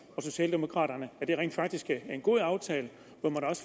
og socialdemokraterne at det rent faktisk er en god aftale